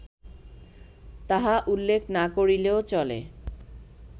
তাহা উল্লেখ না করিলেও চলে